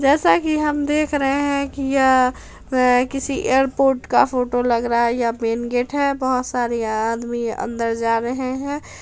जैसा की हम देख रहे है की यह यह किसी एयरपोर्ट का फोटो लग रहा है यह मैन गेट है बहुत सारे आदमी अंदर जा रहे है।